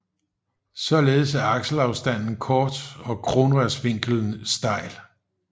Således er akselafstanden kort og kronrørsvinklen stejl